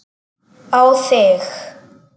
Á þig.